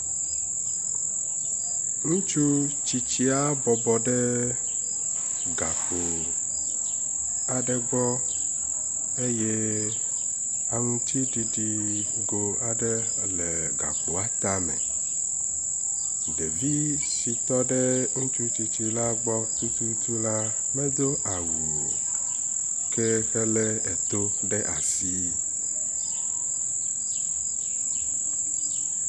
Ŋutsu tsitsia bɔbɔ ɖe gakpo aɖe gbɔ eye aŋutiɖiɖi nugo aɖe le gakpoa tame. Ɖevi si tɔ ɖe ŋutsutsitsi la gbɔ tututu la medo awu o. Ke helé eto ɖe asi.